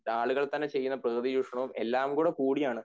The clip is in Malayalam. ആളുകൾ തന്നെ ചെയ്യുന്ന പ്രകൃതി ചൂഷണവും എല്ലാം കൂടി ചേർന്നാണ്